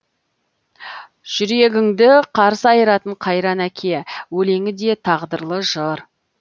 жүрегіңді қарс айыратын қайран әке өлеңі де тағдырлы жыр